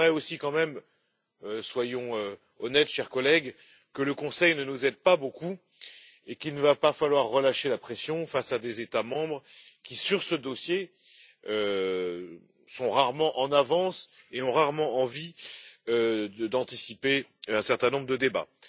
Il est vrai aussi, quand même soyons honnêtes, chers collègues que le Conseil ne nous aide pas beaucoup et qu'il ne va pas falloir relâcher la pression face à des États membres qui, sur ce dossier, sont rarement en avance et ont rarement envie d'anticiper un certain nombre de débats.